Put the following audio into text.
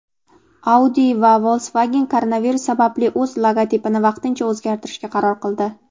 Audi va Volkswagen koronavirus sababli o‘z logotipini vaqtincha o‘zgartirishga qaror qildi.